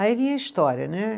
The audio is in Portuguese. Aí vinha a história, né?